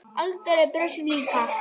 Arnaldur brosir líka.